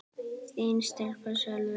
Þín stelpa, Salvör.